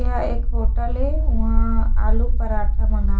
यह एक होटल ए उहाँ आलू पराठा मंगा--